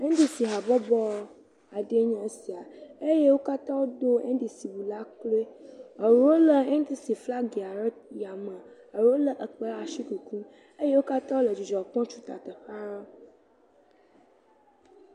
NDCɔ̃habɔbɔ aɖewe nye esia, eye wo katã wodo NDC flaga ɖe yame eɖewo lé kpẽ ɖe asi kukum eye wo katã wotu ta teƒea.